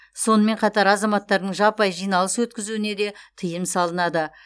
сонымен қатар азаматтардың жаппай жиналыс өткізуіне де тыйым салынады